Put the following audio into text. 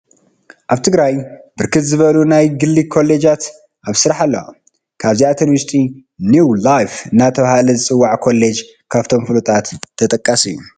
ኣብ ትግራይ ብርክት ዝበላ ናይ ግሊ ኮሌጃት ኣብ ስራሕ ኣለዋ፡፡ ካብዚኣተን ውሽጢ ኒው ላይፍ እናተባህለ ዝፅዋዕ ኮሌጅ ካብቶም ፍሉጣት ተጠቃሲ እዩ፡፡